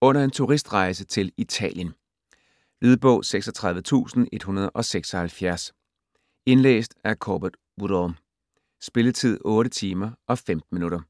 under en turistrejse til Italien. Lydbog 36176 Indlæst af Corbett Woodall. Spilletid: 8 timer, 15 minutter.